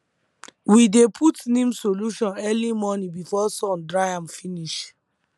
we dey put neem solution early morning before sun dry am finish